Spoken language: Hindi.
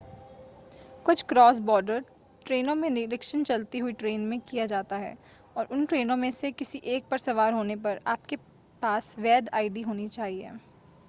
कुछ क्रॉस-बॉर्डर ट्रेनों में निरीक्षण चलती हुई ट्रेन में किया जाता है और उन ट्रेनों में से किसी एक पर सवार होने पर आपके पास वैध आईडी होनी चाहिए